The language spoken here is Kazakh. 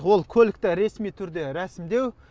ол көлікті ресми түрде рәсімдеу